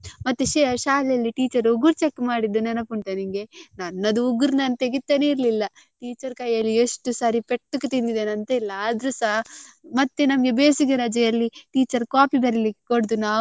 ಮತ್ತೆ ಶಾ~ಶಾಲೆಯಲ್ಲಿ teacher ಉಗುರ್ check ಮಾಡಿದ್ದು ನೆನಪುಂಟಾ ನಿಂಗೆ ನನ್ನದು ಉಗುರ್ ನಾನ್ ತೆಗಿತಾನೇ ಇರ್ಲಿಲ್ಲ teacher ಕೈಯಲ್ಲಿ ಎಷ್ಟು ಸರಿ ಪೆಟ್ಟು ತಿಂದಿದೆನೆ ಅಂತಿಲ್ಲ ಆದ್ರೂಸ ಮತ್ತೆ ನಮ್ಗೆ ಬೇಸಿಗೆ ರಜೆಯಲ್ಲಿ teacher copy ಬರ್ಲಿಕ್ಕೆ ಕೊಡುದು.